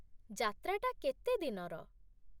ଯାତ୍ରାଟା କେତେ ଦିନର?